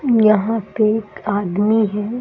यहां पे एक आदमी है।